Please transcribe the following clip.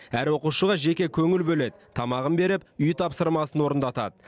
әр оқушыға жеке көңіл бөледі тамағын беріп үй тапсырмасын орындатады